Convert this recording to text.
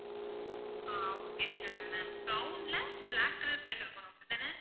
ஆஹ் okay sure ma'am brown ல black color print இருக்கணும் அப்படித்தானே?